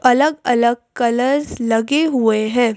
अलग-अलग कलर्स लगे हुए हैं।